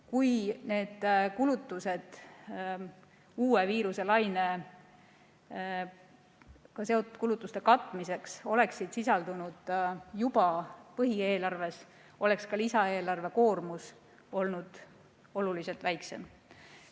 Kui need kulutused uue viiruselainega seotud kulutuste katmiseks oleksid sisaldunud juba põhieelarves, oleks ka lisaeelarve koormus olnud oluliselt väiksem.